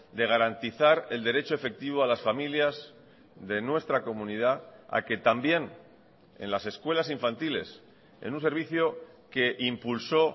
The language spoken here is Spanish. de garantizar el derecho efectivo a las familias de nuestra comunidad a que también en las escuelas infantiles en un servicio que impulsó